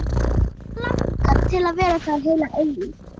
Hana langar til að vera þar heila eilífð.